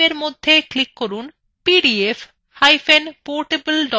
file type এর মধ্যে click করুন পিডিএফportable document ফরম্যাট